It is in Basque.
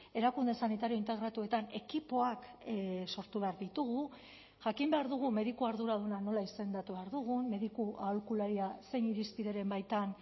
erakunde sanitario integratuetan ekipoak sortu behar ditugu jakin behar dugu mediku arduraduna nola izendatu behar dugun mediku aholkularia zein irizpideren baitan